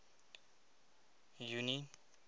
junie